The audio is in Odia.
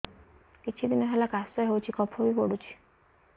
କିଛି ଦିନହେଲା କାଶ ହେଉଛି କଫ ବି ପଡୁଛି